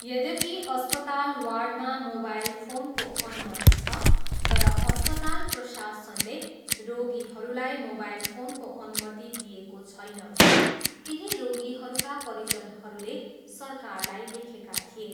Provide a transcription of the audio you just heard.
यद्यपि अस्पताल वार्डमा मोबाईल फोनको अनुमति छ तर अस्पताल प्रशासनले रोगीहरूलाई मोबाइल फोनको अनुमति दिएको छैन भनी केही रोगीहरूका परिजनहरूले सरकारलाई लेखेका थिए।